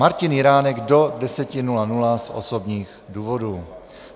Martin Jiránek do 10.00 z osobních důvodů.